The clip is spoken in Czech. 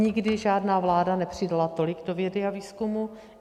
Nikdy žádná vláda nepřidala tolik do vědy a výzkumu.